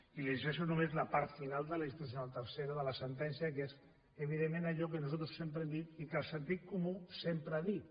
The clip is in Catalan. i li llegeixo només la part final de la disposició addicional tercera de la sentència que és evidentment allò que nosaltres sempre hem dit i que el sentit comú sempre ha dit